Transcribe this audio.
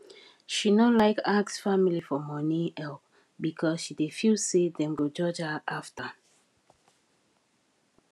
she no like ask family for money help because she dey feel say dem go judge her after